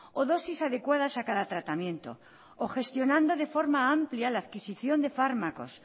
o dosis adecuadas a cada tratamiento o gestionando de forma amplia la adquisición de fármacos